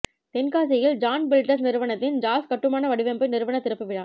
தென்காசியில் Jaz builders நிறுவனத்தின் Jaz கட்டுமான வடிவமைப்பு நிறுவன திறப்பு விழா